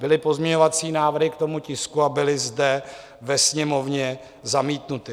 Byly pozměňovací návrhy k tomu tisku a byly zde ve Sněmovně zamítnuty.